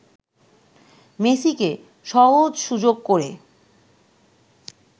মেসিকে সহজ সুযোগ করে